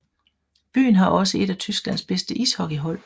Byen har også et af Tysklands bedste ishockeyhold